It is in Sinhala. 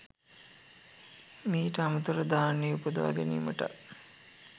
මීට අමතරව, ධ්‍යාන උපදවා ගැනීමටත්